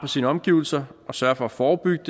sine omgivelser sørge for at forebygge